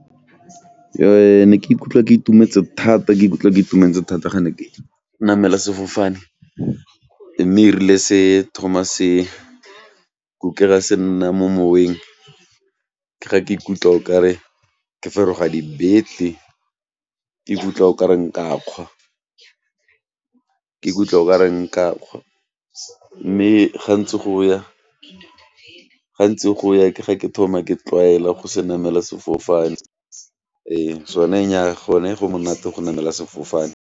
Ne ke ikutlwa ke itumetse thata ke ikutlwa ke itumetse thata ga ne ke namela sefofane, mme e rile se thoma se kukega se nna mo moweng ke ga ke ikutlwa okare ke feroga dibete, ke ikutlwa o ka re nka kgwa, ke ikutlwa o ka re nka kgwa mme gantse go ya, gantse go ya ke ga ke thoma ke tlwaela go se namela sefofane, ee sone nnyaa gone go monate go namela sefofane.